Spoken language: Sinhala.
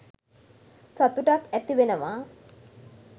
සතුටක් ඇතිවෙනවා.